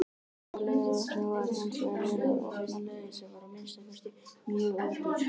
Á Laugarvatni var hinsvegar verið að opna leið, sem var að minnsta kosti mjög ódýr.